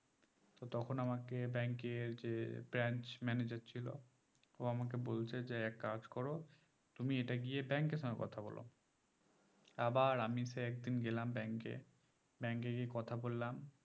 তো তখন আমাকে bankl এর যে branch manager ছিল ও আমাকে বলছে যে এক কাজ করো তুমি এটা গিয়ে bank এর সঙ্গে কথা বলো আবার আমি সে একদিন গেলাম bank এ bank গিয়ে কথা বললাম